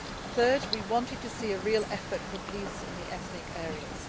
Third we wanted to see a real effort to achieve peace in the ethnic areas.